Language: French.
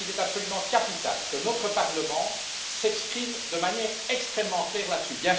Je pense qu'il est absolument capital que notre Parlement s'exprime de manière extrêmement claire là dessus.